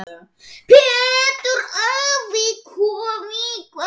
Pétur afi.